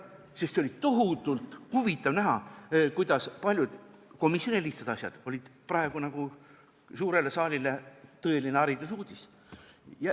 Sest oli tohutult huvitav näha, kuidas paljud komisjonis lihtsana tundunud asjad olid praegu suurele saalile tõeline haridusuudis.